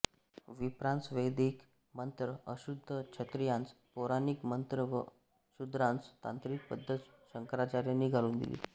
विप्रांस वैदिक मंत्र अशुद्ध क्षत्रियांस पौराणिक मंत्र व शूद्रांस तांत्रिक पद्धत शंकराचार्यांनी घालून दिली